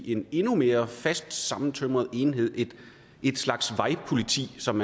en endnu mere fast sammentømret enhed en slags vejpoliti som